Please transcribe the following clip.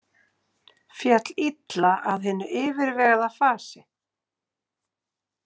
Féll illa að hinu yfirvegaða fasi.